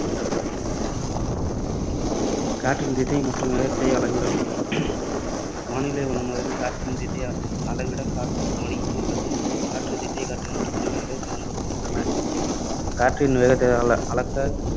காற்றின் திசை மற்றும் வேகத்தை அளவிடல் வானிலை வல்லுநர்கள் காற்றின் திசையை அளவிட காற்றுமானி அல்லது காற்று திசைக்காட்டி என்ற கருவிகளைப் பயன்படுத்துகின்றனர். காற்றின் வேகத்தை அள~ அளக்க